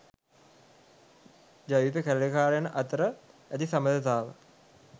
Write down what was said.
ජවිපෙ කැරලිකාරයන් අතර ඇති සබඳතාව